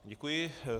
Děkuji.